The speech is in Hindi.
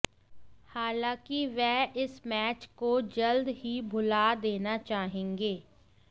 हालांकि वह इस मैच को जल्द ही भुला देना चाहेंगे